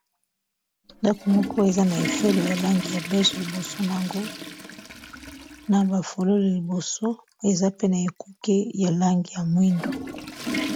ndako moko eza na efelo ya langi ya bege liboso nango na bafolole liboso eza pe na ekuke ya langi ya mwindu